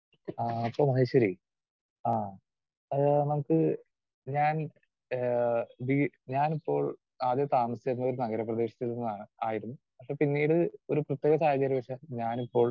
Speaker 2 ആഹ് അപ്പൊ മഹേശ്വരി ആഹ് ആ നമുക്ക് ഞാൻ ഏഹ് വീ ഞാനിപ്പോൾ ആദ്യം താമസിച്ചിരുന്നത് ഒരു നഗരപ്രദേശത്തിൽ നിന്നാണ്, ആയിരുന്നു. പക്ഷേ പിന്നീട് ഒരു പ്രത്യേക സാഹചര്യം പക്ഷേ ഞാനിപ്പോൾ